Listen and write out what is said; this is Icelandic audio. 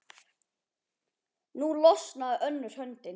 Nú losnaði önnur höndin.